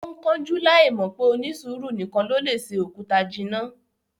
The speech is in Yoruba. Ó ń kánjú láì mọ̀ pé "onísùúrù nìkan ló lè se òkúta jinná"